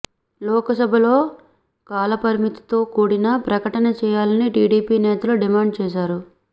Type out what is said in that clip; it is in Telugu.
లోకసభలో కాలపరిమితితో కూడిన ప్రకటన చేయాలని టీడీపీ నేతలు డిమాండ్ చేశారు